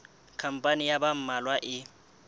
khampani ya ba mmalwa e